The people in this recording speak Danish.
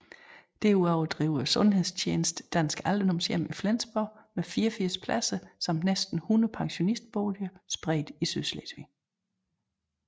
Derudover driver sundhedstjenesten Dansk Alderdomshjem i Flensborg med 84 pladser samt næsten 100 pensionistboliger spredt i Sydslesvig